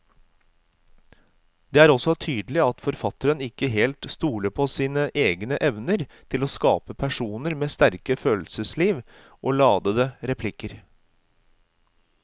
Det er også tydelig at forfatteren ikke helt stoler på sine egne evner til å skape personer med sterke følelsesliv og ladete replikker.